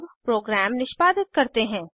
अब प्रोग्राम निष्पादित करते हैं